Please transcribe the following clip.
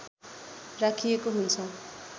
राखिएको हुन्छ